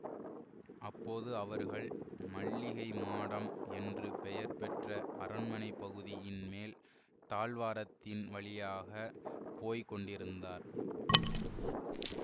அப்போது அவர்கள் மல்லிகை மாடம் என்று பெயர் பெற்ற அரண்மனைப் பகுதியின் மேல் தாழ்வாரத்தின் வழியாக போய் கொண்டிருந்தார்கள்